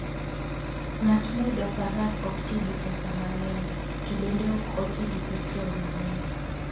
Ng'at moidho faras ok ti gi pesa mang'eny, to bende ok oti gi petrol mang'eny.